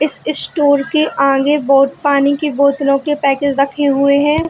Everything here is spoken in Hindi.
इस इस स्टोर के आगे बहुत पानी की बोत्त्लों के पैकेज रखे हुए है ।